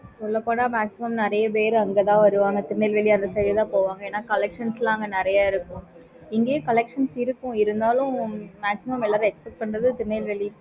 சொல்ல போன maximum நறைய பேரு அங்க தான் வருவாங்க திருநெல்வேலி அந்த side தான் போவாங்க ஏன்னா collection லாம் அங்க நறைய இருக்கும் இங்கயே collections லாம் இருக்கும் இருந்தாலும் maximum purchase பண்றது திருநெல்வேலி